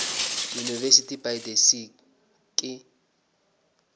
university by the sea ke